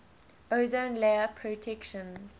ozone layer protection